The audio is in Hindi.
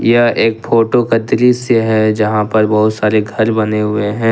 यह एक फोटो का दृश्य है जहां पर बहुत सारे घर बने हुए हैं।